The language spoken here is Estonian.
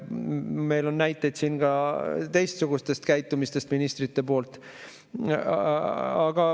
Meil on näiteid ka teistsuguse käitumise kohta ministrite poolt.